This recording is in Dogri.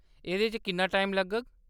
एह्‌दे च किन्ना टाइम लग्गग ?